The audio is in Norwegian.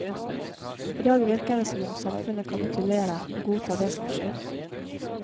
I dag virker det som om samfunnet kapitulerer, og godtar det som skjer.